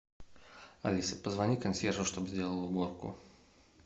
алиса позвони консьержу чтоб сделал уборку